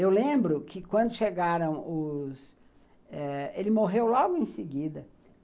Eu lembro que quando chegaram os...Eh ele morreu logo em seguida.